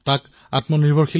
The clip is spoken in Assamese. এটা এপ আছে আস্ক চৰকাৰ